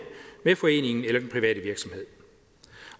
med foreningen eller den private virksomhed